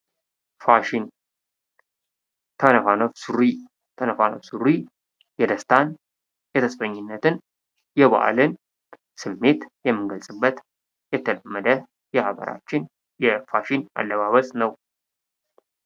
ፋሽን ተነፋነፍ ሱሪ ተነፋነፍ ሱሪ የደስታ ፣የተስፈኝነትን፣ የበዓልን ስሜት የምንገልጽበት የተለመደ የሀገራችን የፋሽን አለባበስ ነው።